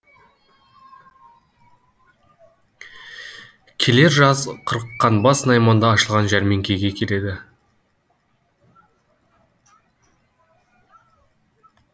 келер жаз қырыққанбас найманда ашылған жәрмеңкеге келеді